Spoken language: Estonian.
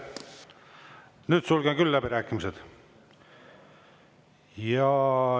Nüüd sulgen küll läbirääkimised.